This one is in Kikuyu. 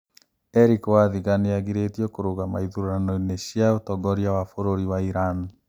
Erick wathiga nĩ agirĩtio kũrũgama ithurano-inĩ cia ũtongoria wa bũrũri wa Iran